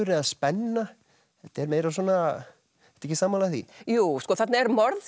eða spenna þetta er meira svona ertu ekki sammála því jú þarna er morð